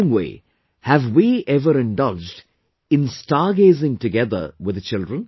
In the same way, have we ever indulged in stargazing together with the children